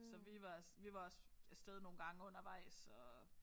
Så vi var vi var også af sted nogle gange undervejs og